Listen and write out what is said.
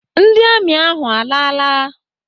Ndị amị ahụ alaala?